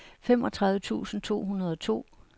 femogtredive tusind to hundrede og to